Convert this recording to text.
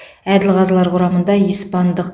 әділ қазылар құрамында испандық